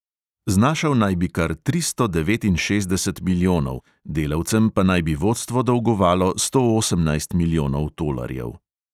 Znašal naj bi kar tristo devetinšestdeset milijonov, delavcem pa naj bi vodstvo dolgovalo sto osemnajst milijonov tolarjev.